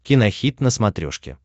кинохит на смотрешке